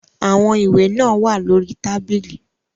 Àwọn ìwé náà wà lórí tábìlì.